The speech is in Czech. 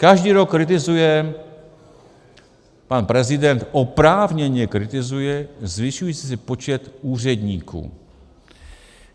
Každý rok kritizuje pan prezident, oprávněně kritizuje, zvyšující se počet úředníků.